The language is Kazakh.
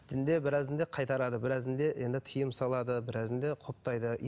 дінде біразында қайтарады біразында енді тыйым салады біразында құптайды